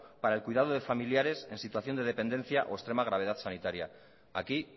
para el cuidado de familiares en situación de dependencia o extrema gravedad sanitaria aquí